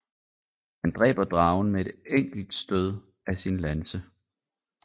Han dræber dragen med et enkelt stød af sin lanse